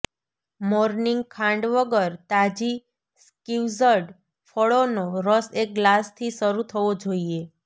morning ખાંડ વગર તાજી સ્ક્વિઝ્ડ ફળોનો રસ એક ગ્લાસથી શરૂ થવો જોઈએ